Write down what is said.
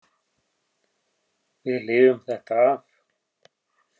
Við lifum þetta af.